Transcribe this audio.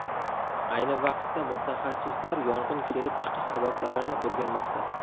Ayni vaqtda mutaxassislar yong‘in kelib chiqish sabablarini o‘rganmoqda.